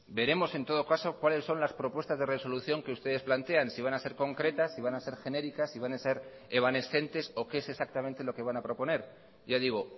veremos en todo caso cuáles son las propuestas de resolución que ustedes plantean si van a ser concretas si van a ser genéricas si van a ser evanescentes o qué es exactamente lo que van a proponer ya digo